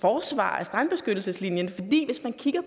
forsvarer af strandbeskyttelseslinjen